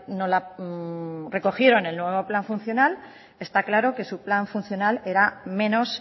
no la recogieron en el nuevo plan funcional está claro que su plan funcional era menos